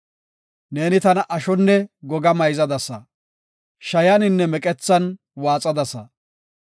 Neeni tana ashonne goga mayzadasa; shayaninne meqethan waaxadasa.